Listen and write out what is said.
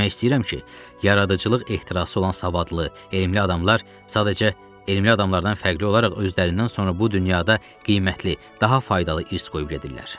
Demək istəyirəm ki, yaradıcılıq ehtirası olan savadlı, elmli adamlar sadəcə elmli adamlardan fərqli olaraq özlərindən sonra bu dünyada qiymətli, daha faydalı irs qoyub gedirlər.